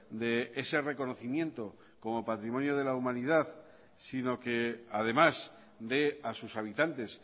de ese reconocimiento como patrimonio de la humanidad sino que además de a sus habitantes